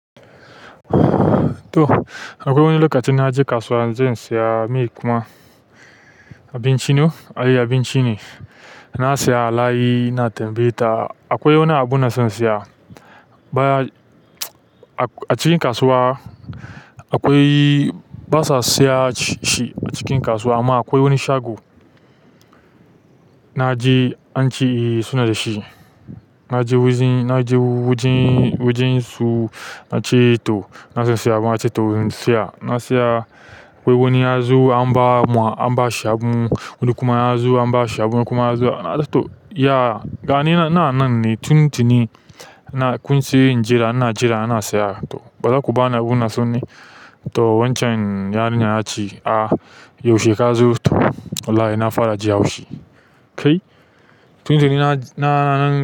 To akwai wani lokacin na je kasuwa zan saya meye kuma abinci ne. Na saya alayi, ina tambaye ta akwai wani abu na son saya. Baya a cikin kasuwa akwai basa siya shi a cikin kasuwa amma akwai wani shago na je an ce suna da shi. Na je wajen, na je wajen su na ce to ina son siya abu na ce to in siya. Na siya, wai wani ya zo an ba shi abu, wani kuma ya zo an ba shi abu wani kuma ya zo. To ya, ga ni nan ina nan ne tun tuni na kun ce in jira ina jira ana saya to ba zaku bani abun ina son ne? To wancan yarinyar ta ce a yaushe ka zo? To wallahi na fara ji haushi kai tun tuni na nan.